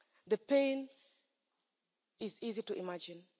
The pain is easy to imagine.